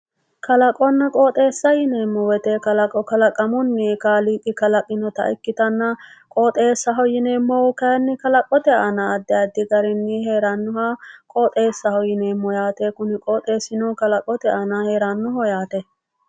Kalaqonna qooxeessa yineemo woyite kalaqamunni kaaliiqi kalaqinota ikkitanna qooxesaho yineemohu kayinni kalaqote aana addi addi garinni heerannoha qooxessaho yineemo yaate kuni qooxesino Kalaqote aananni heraho yaate